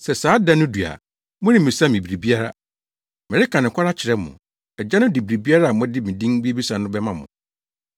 Sɛ saa da no du a moremmisa me biribiara. Mereka nokware akyerɛ mo, Agya no de biribiara a mode me din bebisa no bɛma mo.